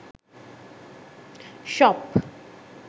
shop